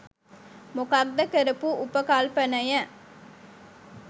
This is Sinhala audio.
මොකක්ද කරපු උපකල්පනය